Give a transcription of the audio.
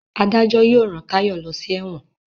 adajo yóò rán Tayo ló sí èwòn.